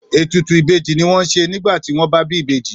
Ètùtù ìbejì ni wọ́n ń ṣe nígbà tí wọ́n bá bí ìbejì.